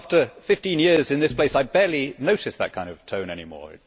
After 15 years in this place, I barely notice that kind of tone anymore